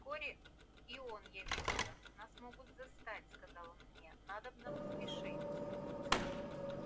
вскоре и он явился нас могут застать сказал он мне надобно поспешить